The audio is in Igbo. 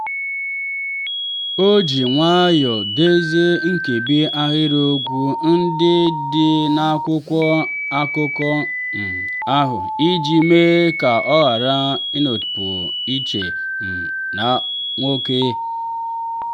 o ji nwayọọ dezie nkebi ahịrịokwu ndị dị n'akwụkwọ akụkọ um ahụ iji mee ka ọ ghara ịnọpụ iche um na nwoke.